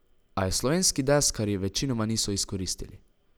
A je slovenski deskarji večinoma niso izkoristili.